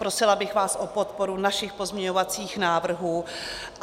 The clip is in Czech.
Prosila bych vás o podporu našich pozměňovacích návrhů.